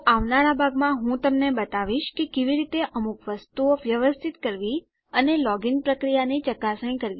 તો આવનારા ભાગમાં હું તમને બતાવીશ કે કેવી રીતે અમુક વસ્તુઓ વ્યવસ્થિત કરવી અને લોગીન પ્રક્રિયાની ચકાસણી કરવી